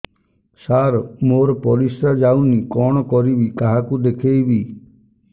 ସାର ମୋର ପରିସ୍ରା ଯାଉନି କଣ କରିବି କାହାକୁ ଦେଖେଇବି